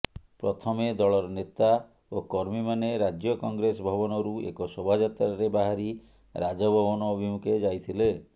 ପ୍ରଥମେ ଦଳର ନେତା ଓ କର୍ମୀମାନେ ରାଜ୍ୟ କଂଗ୍ରେସ ଭବନରୁ ଏକ ଶୋଭାଯାତ୍ରାରେ ବାହାରି ରାଜଭବନ ଅଭିମୁଖେ ଯାଇଥିଲେ